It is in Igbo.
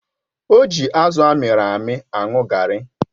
O ji azụ amịrị amị aṅụ garri.